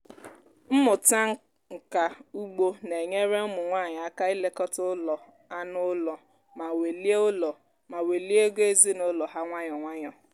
mmụta nka ugbo na-enyere ụmụ nwanyị aka ilekọta ụlọ anụ ụlọ ma welie ụlọ ma welie ego ezinụlọ ha nwayọọ nwayọọ